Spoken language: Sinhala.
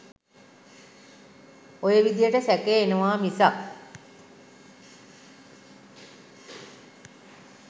ඔය විදිහට සැකය එනවා මිසක්